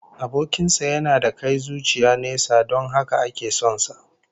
Abokin sa yana da kai zuciya nesa don haka ake son sa